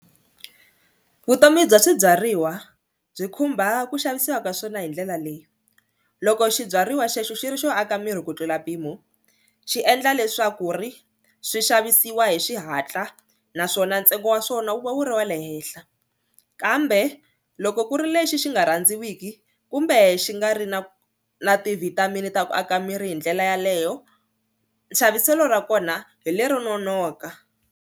Vutomi bya swibyariwa byi khumba ku xavisiwa ka swona hi ndlela leyi loko xibyariwa xexo xi ri xo aka miri ku tlula mpimo xi endla leswaku ri swi xavisiwa hi xihatla naswona ntsengo wa swona wu va wu ri wa le henhla, kambe loko ku ri lexi xi nga rhandziwiki kumbe xi nga ri na na ti-vitamin ta ku aka miri hi ndlela yaleyo xaviselo ra kona hi lero nonoka.